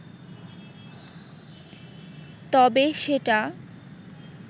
তবে সেটা